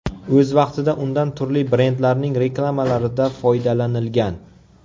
O‘z vaqtida undan turli brendlarning reklamalarida foydalanilgan.